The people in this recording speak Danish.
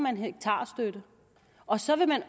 hektarstøtte og så vil man